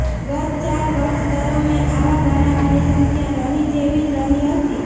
ગત ચાર વર્ષ દરમિયાન આવા બનાવોની સંખ્યા નહીં જેવી જ રહી હતી